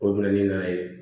O bɛ na ni n'a ye